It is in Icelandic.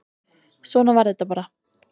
Svona var þetta bara.